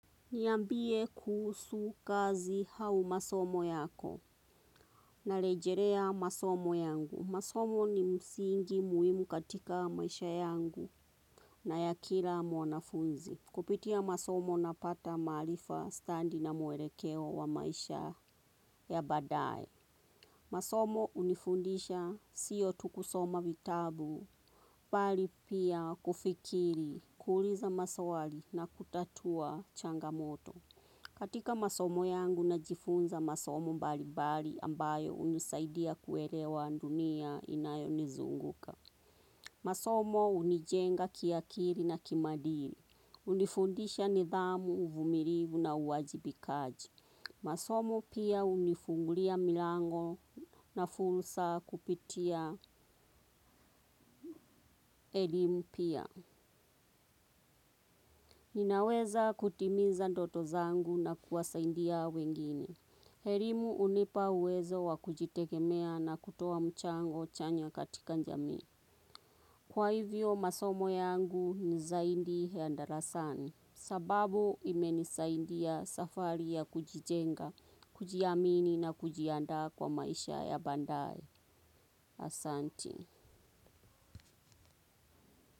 Niambie kuhusu kazi au masomo yako na rejelea masomo yangu. Masomo ni msingi muhimu katika maisha yangu na ya kila mwanafunzi. Kupitia masomo napata maarifa stadi na mwelekeo wa maisha ya badae. Masomo hunifundisha sio tu kusoma vitabu bali pia kufikiri kuuliza maswali na kutatua changamoto. Katika masomo yangu najifunza masomo mbalibali ambayo hunisaidia kuelewa dunia inayo nizunguka. Masomo hunijenga kiakili na kimaadili. Hunifundisha nidhamu uvumilivu na uwajibikaji. Masomo pia hunifungulia milango na fursa kupitia elimu pia. Ninaweza kutimiza ndoto zangu na kuwasaidia wengine. Elimu hunipa uwezo wa kujitegemea na kutuoa mchango chanya katika jamii. Kwa hivyo masomo yangu ni zaidi ya darasani. Sababu imenisaidia safari ya kujijenga, kujiamini na kujiandaa kwa maisha ya baadae. Asanti.